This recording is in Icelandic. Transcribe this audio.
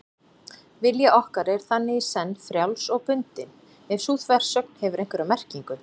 Vilji okkar er þannig í senn frjáls og bundinn, ef sú þversögn hefur einhverja merkingu.